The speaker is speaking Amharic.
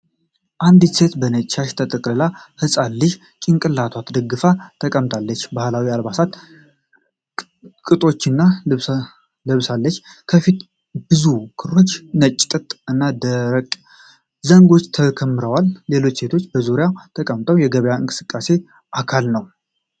አንዲት ሴት በነጭ ሻሽ ተጠቅልላ ሕፃን ልጅ ጭንቅላቷን ደግፋ ተቀምጣለች። ባህላዊ የአልባሳት ቅጦችን ለብሳለች። ከፊቷ ብዙ ክሮች፣ ነጭ ጥጥ እና ደረቅ ዘንጎች ተከምረዋል። ሌሎች ሴቶች በዙሪያዋ ተቀምጠው የገበያ እንቅስቃሴው አካል ናቸው።